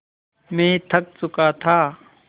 मैं थक चुका था